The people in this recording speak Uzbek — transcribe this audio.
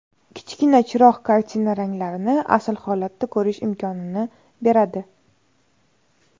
Kichkina chiroq kartina ranglarini asl holatda ko‘rish imkonini beradi.